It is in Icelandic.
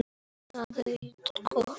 Ég segi honum það.